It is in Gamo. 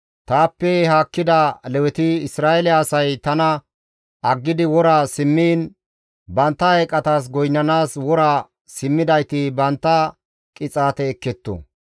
« ‹Taappe haakkida Leweti, Isra7eele asay tana aggidi wora simmiin, bantta eeqatas goynnanaas wora simmidayti bantta qixaate ekketto.